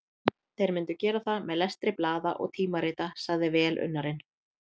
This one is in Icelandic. Þeir myndu gera það með lestri blaða og tímarita, sagði velunnari